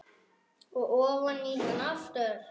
Og ofan í hana aftur.